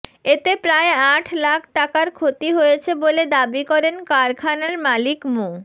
এতে প্রায় আট লাখ টাকার ক্ষতি হয়েছে বলে দাবি করেন কারখানার মালিক মো